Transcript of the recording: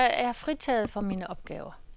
Jeg er fritaget for mine opgaver.